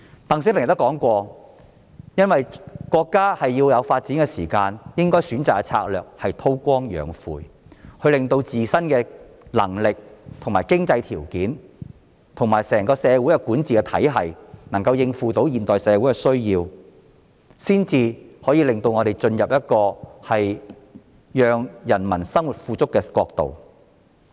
"鄧小平也說過，由於國家需要時間進行發展，所以應該選擇的策略是韜光養晦，令自身的能力、經濟條件及整個社會的管治體系能夠應付現代社會的需要，這樣才能令中國進入讓人民生活富足的國度。